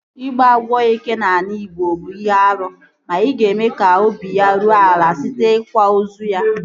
Ịgbu agwọ eke n'ala igbo bụ ihe árú ma ị ga-eme ka obi ya ruo ala site n'ikwa ozu ya